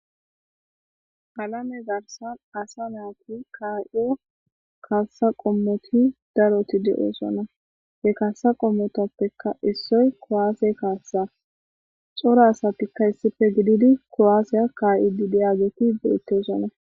alame zarsan asa naati kay7o kaassa qommoti daroti de7oosona he kaassa qommotappeka issoy kowaase kaassa xoro asatikka issife gididi koaaseya kay7idi deyageti beettosona